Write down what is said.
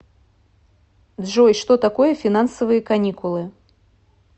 джой что такое финансовые каникулы